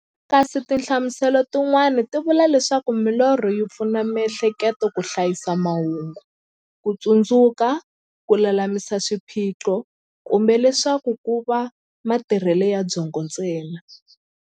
Kasi tinhlamuselo ti n'wana ti vula leswaku milorho yi pfuna mi'hleketo ka hlayisa mahungu, kutsundzuka, kululamisa swiphiqo, kumbe leswaku kova matirhele ya byongo ntsena.